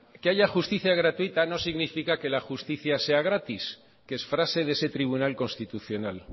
que haya justicia gratuita no significa que la justicia sea gratis que es frase de ese tribunal constitucional